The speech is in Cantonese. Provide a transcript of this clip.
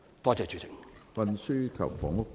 多謝主席。